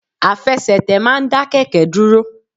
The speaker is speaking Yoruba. Àfẹsẹ̀tẹ̀ ma n da kẹkẹ dúrò